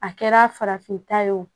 A kɛra farafinta ye wo